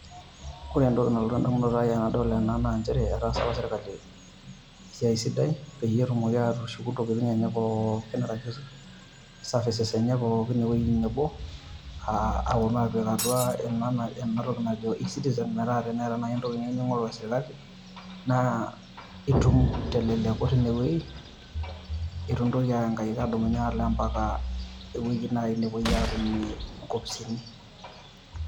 Ore entoki nalotu endamunoto ai tenadol ena naa nchere etaasa apa sirkali esiai sidai peyie etumoki aatushuku intokitin enye pookin arashu services enye pookin ewueji nebo aa aponu aapik ena toki nai eCtiizen